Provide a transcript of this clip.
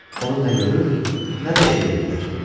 Onu nə görür, nə də eşidirdilər.